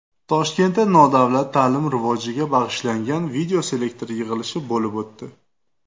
Toshkentda nodavlat ta’lim rivojiga bag‘ishlangan videoselektor yig‘ilishi bo‘lib o‘tdi.